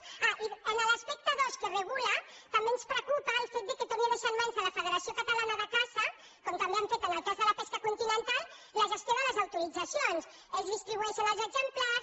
ah i en l’aspecte dos que regula també ens preocupa el fet que torni a deixar en mans de la federació catalana de caça com també han fet en el cas de la pesca continental la gestió de les autoritzacions ells distribueixen els exemplars